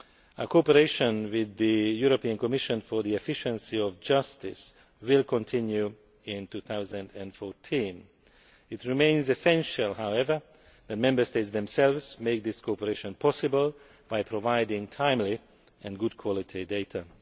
Our cooperation with the European Commission for the Efficiency of Justice will continue in 2014. It remains essential, however, that Member States themselves make this cooperation possible by providing timely and good quality data.